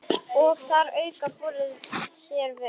Og þar að auki borga þeir vel.